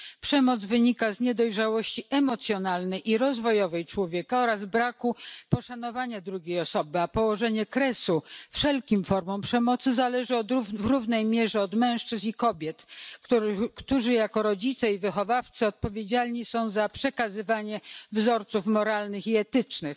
Przemoc wynika z niedojrzałości emocjonalnej i rozwojowej człowieka oraz braku poszanowania drugiej osoby, a położenie kresu wszelkim formom przemocy zależy w równej mierze od mężczyzn i kobiet, którzy jako rodzice i wychowawcy odpowiedzialni są za przekazywanie wzorców moralnych i etycznych.